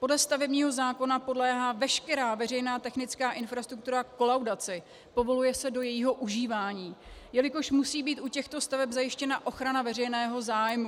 Podle stavebního zákona podléhá veškerá veřejná technická infrastruktura kolaudaci, povoluje se do jejího užívání, jelikož musí být u těchto staveb zajištěna ochrana veřejného zájmu.